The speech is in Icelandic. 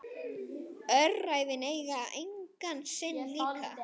Öræfin eiga engan sinn líka.